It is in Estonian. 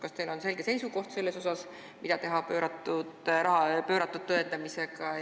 Kas teil on selge seisukoht, mida teha ümberpööratud tõendamisega?